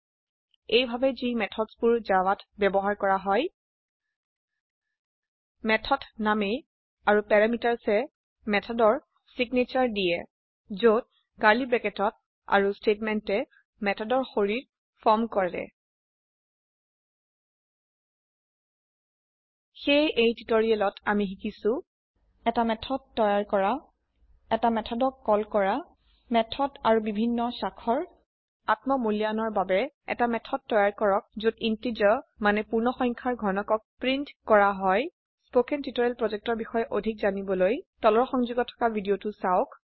এই ভাবে যি methodsবোৰ জাভাত ব্যবহাৰ কৰা হয় মেথদ নামে আৰু পেৰামিতাৰচেয়ে মেথদৰ সেগনেছাৰ দিয়ে যত কাৰ্লী ব্ৰেকেটত আৰু স্তেটমেন্টয়ে মেথদৰ শৰীৰ ফৰ্ম কৰে সেয়ে এই টিউটোৰিয়েলত আমি শিকিছো এটা মেথড তৈয়াৰ কৰা এটা মেথড কল কৰক মেথড আৰু বিভিন্ন স্বাক্ষৰ আত্ম মূল্যায়নৰ বাবে এটি মেথদ তৈয়াৰ কৰক যত ইণ্টিজাৰ মানে পূৰ্ণসংখ্যাৰ ঘনকক প্ৰীন্ত কৰা হয় spoken টিউটৰিয়েল projectৰ বিষয়ে অধিক জানিবলৈ তলৰ সংযোগত থকা ভিডিঅ চাওক